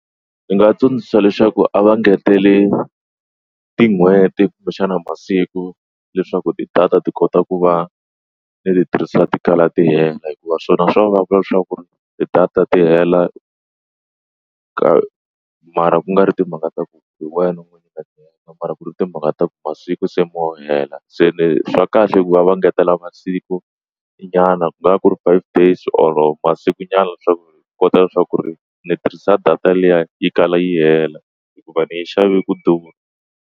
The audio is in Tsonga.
Ndzi nga tsundzuxa leswaku a va ngeteli tin'hweti kumbe xana masiku leswaku ti-data ti kota ku va ni ti tirhisa ti kala tenga hikuva swona swa vava leswaku ti-data ta hela ka mara ku nga ri timhaka ta ku hi wena u n'wi nyika mara ku ri timhaka ta ku masiku se mo hela se swa kahle ku va va ngetela masiku nyana ku nga va ku ri five days or masiku nyana leswaku hi kota leswaku ri ni tirhisa data liya yi kala yi hela hikuva ni yi xavile ku durha.